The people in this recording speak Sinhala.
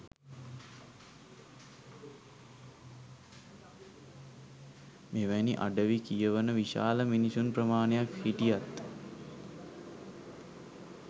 මෙවැනි අඩවි කියවන විශාල මිනිසුන් ප්‍රමාණයක් හිටියත්